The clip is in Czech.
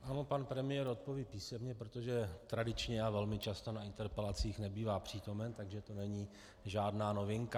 Ano, pan premiér odpoví písemně, protože tradičně a velmi často na interpelacích nebývá přítomen, takže to není žádná novinka.